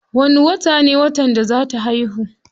Wani watan ne watan da za ta haihu.